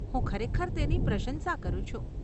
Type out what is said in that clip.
હું ખરેખર તેની પ્રશંસા કરું છું.